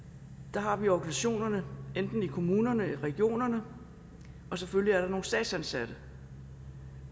der har vi organisationerne enten i kommunerne eller i regionerne og selvfølgelig er der nogle statsansatte